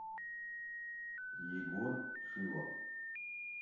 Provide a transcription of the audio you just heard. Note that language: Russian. егор шилов